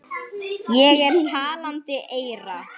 Ég er talandi eyra.